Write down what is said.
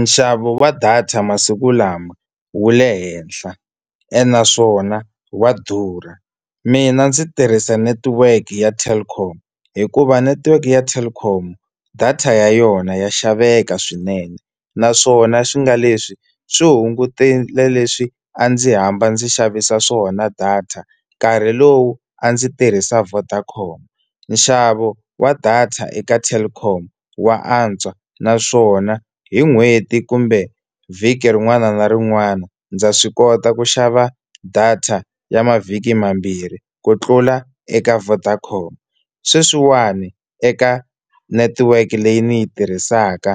Nxavo wa data masiku lama wu le henhla ene naswona wa durha. Mina ndzi tirhisa netiweke ya Telkom hikuva netiweke ya Telkom data ya yona ya xaveka swinene, naswona swi nga leswi swi hungutile leswi a ndzi hamba ndzi xavisa swona data nkarhi lowu a ndzi tirhisa Vodacom. Nxavo wa data eka Telkom wa antswa, naswona hi n'hweti kumbe vhiki rin'wana na rin'wana ndza swi kota ku xava data ya mavhiki mambirhi ku tlula eka Vodacom. Sweswiwani eka network leyi ni yi tirhisaka